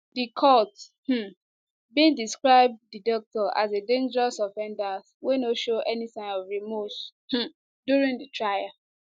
di court um bin describe di doctor as a dangerous offender wey no show any sign of remorse um during di trial